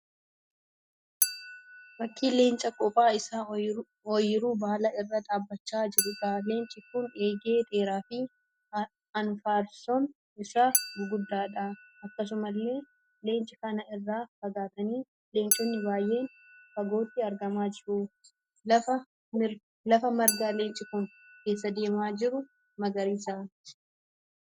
Fakkii leenca qophaa isaa oyiruu bal'aa irra dhaabbachaa jiruudha. Leenci kun eegee dheeraa fi anfaarsoon isaa guguddaadha. Akkasumallee leenca kana irraa fagaatanii leenconni baay'een fagootti argamaa jiru. Lafi margaa leenci kun keessa deemaa jiru magaariisa.